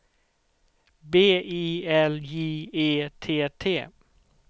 B I L J E T T